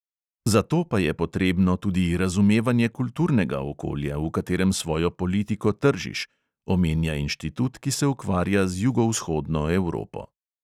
Za to pa je potrebno tudi razumevanje kulturnega okolja, v katerem svojo politiko tržiš, omenja inštitut, ki se ukvarja z jugovzhodno evropo.